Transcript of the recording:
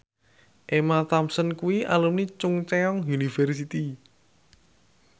Emma Thompson kuwi alumni Chungceong University